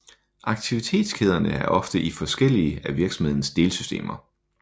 Aktivitetskæderne er ofte i forskellige af virksomhedens delsystemer